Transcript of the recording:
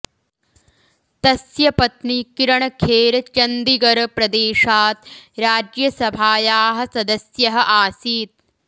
तस्य पत्नि किरण् खेर् चन्दिगर् प्रदेशात् राज्यसभायाः सदस्यः आसीत्